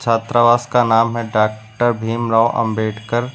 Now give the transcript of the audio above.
छात्रावास का नाम है डॉक्टर भीमराव अंबेडकर।